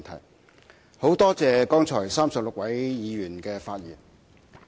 我很感謝剛才36位議員的發言。